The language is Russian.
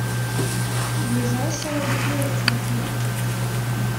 ближайшая библиотека